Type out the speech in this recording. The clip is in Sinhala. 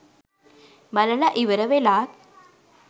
බලල ඉවර වෙලාත්